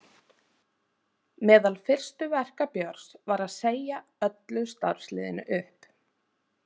Meðal fyrstu verka Björns var að segja öllu starfsliðinu upp.